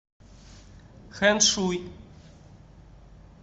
хэншуй